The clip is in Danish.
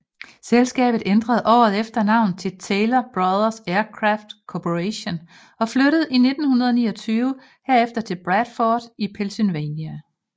Selskabet ænderede året efter navn til Taylor Brothers Aircraft Corporation og flyttede i 1929 herefter til Bradford i Pennsylvania